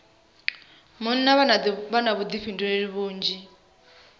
munna vha na vhuḓifhinduleli vhunzhi